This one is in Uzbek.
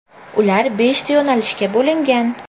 Ular beshta yo‘nalishga bo‘lingan.